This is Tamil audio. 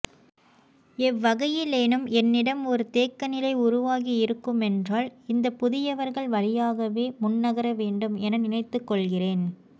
எவ்வகையிலேனும் என்னிடம் ஒரு தேக்கநிலை உருவாகியிருக்குமென்றால் இந்தப்புதியவர்கள் வழியாகவே முன்னகர வேண்டும் என நினைத்துக்கொள்கிறேன்